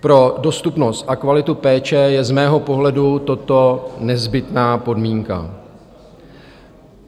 Pro dostupnost a kvalitu péče je z mého pohledu toto nezbytná podmínka.